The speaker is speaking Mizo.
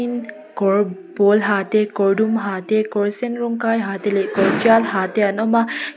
kawr pawl ha te kawr dum ha te kawr sen rawng kai ha te leh kawr tial ha te an awm a.